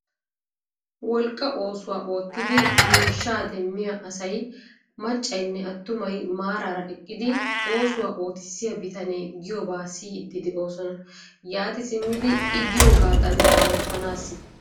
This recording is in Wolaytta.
Wolqqa oosuwaa oottidi miishshaa demmiyaa asay maccaynne attumay maraara eqqidi oosuwaa oottisiyaa bitanee giyoobaa siyiidi de'oosona. yaati simmidi i giyoogadan ottaanasi.